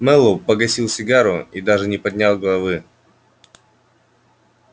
мэллоу погасил сигару и даже не поднял головы